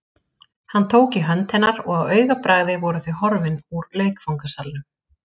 Hann tók í hönd hennar og á augabragði voru þau horfin úr leikfangasalnum.